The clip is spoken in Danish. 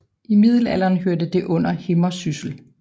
I middelalderen hørte det under Himmersyssel